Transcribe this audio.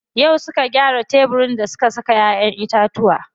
Yau suka gyara tebirin da suke saka ƴaƴen itatuwa.